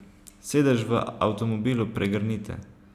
Sedež v avtomobilu pregrnite.